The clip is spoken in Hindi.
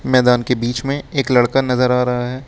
मैदान के बीच में एक लड़का नजर आ रहा है।